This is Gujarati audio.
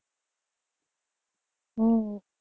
હમ